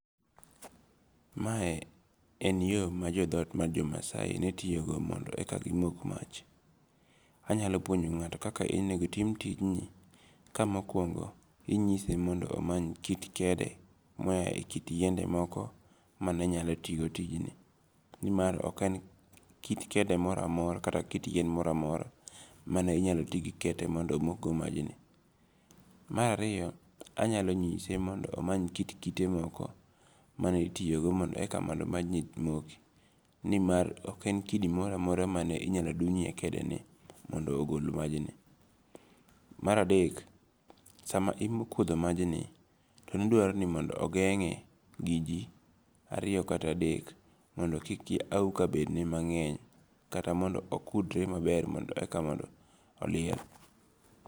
Mae en yo ma jo thot ma jomasai ne tiyogo mondo eka gimok mach, anyalo puonjo nga'to kaka onego tim tijni ka mokuongo inyise mondo amany kit kede mayae e kit yiende moko manenyalo timo tijini, ni mar ok en kit kede mora mora kata kit yien mora mora mane minyalo tigi kete mondo omok go majni, marariyo anyalo nyise mondo omany kit kite moko mane itiyogo mondo eka mondo majni moki ni mar ok en kidi mora mora ma inyalo duny hiye kedeni mondo ogol majni, maradek sama ikutho majni to ne dwarore ni ogenge' gi ji ariyo kata adek mondo kik awuka bedne mange'ny kata mondo okudre manyeny eka mondo oliel.